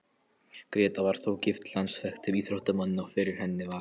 Gréta var þó gift landsþekktum íþróttamanni, og fyrir henni var